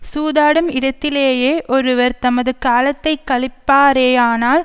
சூதாடும் இடத்திலேயே ஒருவர் தமது காலத்தை கழிப்பாரேயானால்